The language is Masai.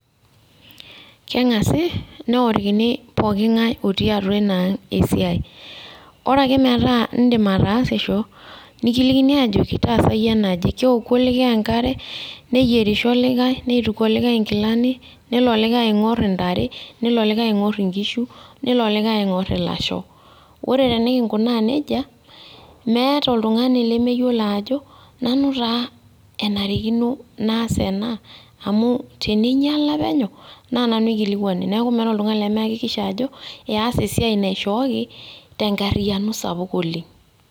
Keng'asi neorikini pooking'ae otii atua inang' esiai. Ore ake metaa iidim ataasisho, nikilikini ajoki, tasayie enaje. Keoku likae enkare, neyierisho likae, neituk likae nkilani, neno olikae aing'or intare, nelo olikae aing'or inkishu, nelo olikae aing'or ilasho. Ore tenikinkunaa nejia, meeta oltung'ani lemeyiolo ajo, nanu taa enarikino naas ena, amu teninyala penyo, na nanu eikilikwani. Neeku meeata oltung'ani lemeakikisha ajo, eas esiai naishooki, tenkarriyiano sapuk oleng'.